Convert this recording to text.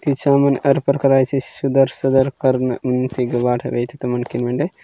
किच्छा मन अर परकार आईसीसी सुदर- सदर कर इन वाटा वैतिता मांकिन वेंडे।